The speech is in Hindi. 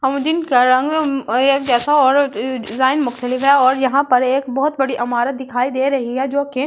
का रंग जैसा और डिजाइन है और यहां पर एक बहुत बड़ी इमारत दिखाई दे रही है जो कि--